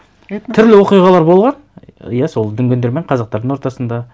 түрлі оқиғалар болған иә сол дүнгендер мен қазақтардың ортасында